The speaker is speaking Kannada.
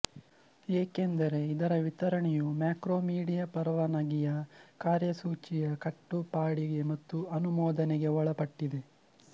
ಏಕೆಂದರೆ ಇದರ ವಿತರಣೆಯು ಮ್ಯಾಕ್ರೋಮೀಡಿಯಾ ಪರವಾನಗಿಯ ಕಾರ್ಯಸೂಚಿ ಯ ಕಟ್ಟುಪಾಡಿಗೆ ಮತ್ತು ಅನುಮೋದನೆಗೆ ಒಳಪಟ್ಟಿದೆ